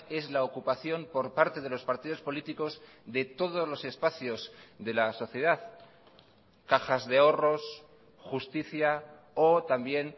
es la ocupación por parte de los partidos políticos de todos los espacios de la sociedad cajas de ahorros justicia o también